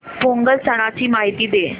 पोंगल सणाची माहिती दे